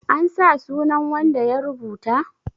an sa sunan wanda ya rubuta?